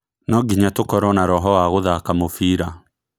No nginya tũkorwo na roho wa gũthaka mũbira